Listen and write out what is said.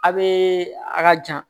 A bee a ka jan